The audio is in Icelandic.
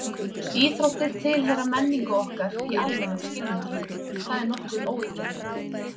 Íþróttir tilheyra menningu okkar í almennum skilningi, það er nokkuð óyggjandi.